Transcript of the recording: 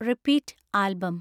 repeat album